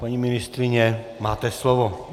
Paní ministryně, máte slovo.